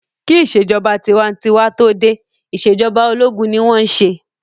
Kí ìṣèjọba tinwatinwa tó dé, ìṣèjọba ológun ni wọ́n n ṣe